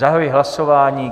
Zahajuji hlasování.